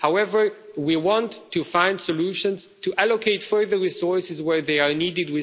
However, we want to find solutions to allocate further resources where they are needed.